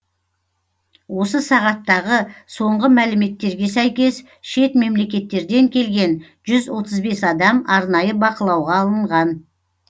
осы сағаттағы соңғы мәліметтерге сәйкес шет мемлекеттерден келген жүз отыз бес адам арнайы бақылауға алынған